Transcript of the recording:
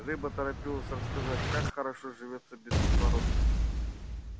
рыба торопилась рассказать как хорошо живётся без кислорода